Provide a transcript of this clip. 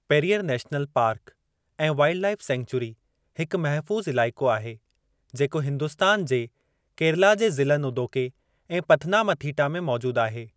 Periyar national park ऐं wildlife sanctuary हिकु महफू़ज़ इलाइक़ो आहे जेको हिंदुस्तान जे केरला जे ज़िलनि उदोके ऐं पथनामथीटा में मौजूद आहे।